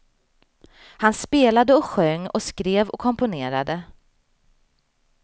Han spelade och sjöng och skrev och komponerade.